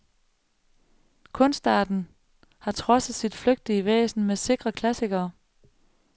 Kunstarten har trodset sit flygtige væsen med sikre klassikere.